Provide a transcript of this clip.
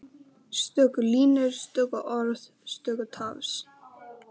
Stöku línur, stöku orð, stöku tafs.